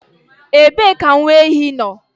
Ebee ka nwa ehi nọ?